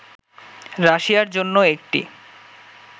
রাশিয়ার জন্য একটি